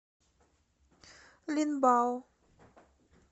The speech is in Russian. линбао